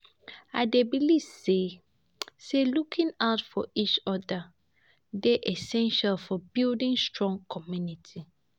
I dey believe say say looking out for each other dey essential for building strong community.